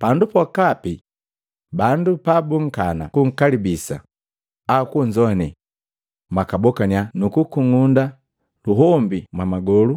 Pandu pokapi bandu pabukunkana kunkalibisa au kunzoane, mwakabokannya nukukung'unda luhombi mwamagolu